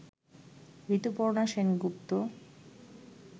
Rituparna Sengupta